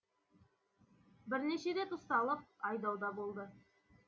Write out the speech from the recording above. бірнеше рет ұсталып айдауда болды